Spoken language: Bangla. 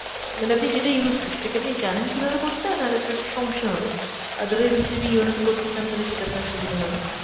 অ্যাঁ মানে যেটা আপনি used to সেটা কি আনি জানেন কীভাবে করতে হয় নাহলে আপনার সমস্যা হবে, otherwise আপনি যদি yono তে করতে চান তালে সেটা আপনার সুবিধা হবে।